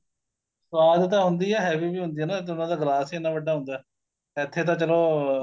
ਸਵਾਦ ਤਾਂ ਹੁੰਦੀ ਏ ਨਾ heavy ਵੀ ਹੁੰਦੀ ਏ ਨਾ ਉਹਨਾ ਦਾ glass ਈ ਇੰਨਾ ਵੱਡਾ ਹੁੰਦਾ ਇੱਥੇ ਤਾਂ ਚਲੋ